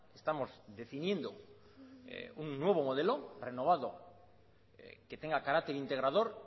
estamos definiendo un nuevo modelo renovado que tenga carácter integrador